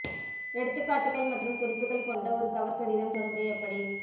எடுத்துக்காட்டுகள் மற்றும் குறிப்புகள் கொண்ட ஒரு கவர் கடிதம் தொடங்க எப்படி